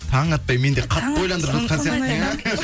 таң атпай мен де қатты ойландырып жатқан сияқтымын иә